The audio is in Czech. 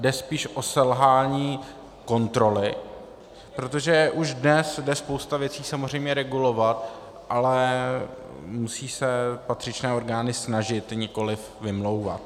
Jde spíše o selhání kontroly, protože už dnes jde spousta věcí samozřejmě regulovat, ale musí se patřičné orgány snažit, nikoliv vymlouvat.